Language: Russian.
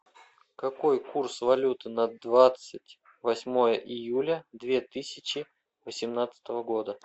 какой курс валюты на двадцать восьмое июля две тысячи восемнадцатого года